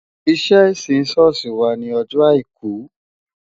Iṣẹ́ ìsìn ṣọ́ọ̀ṣì wà ní ọjọ́ Àìkú